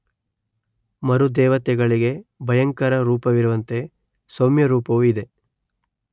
ಮರುದ್ದೇವತೆಗಳಿಗೆ ಭಯಂಕರ ರೂಪವಿರುವಂತೆ ಸೌಮ್ಯ ರೂಪವೂ ಇದೆ